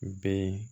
Bɛ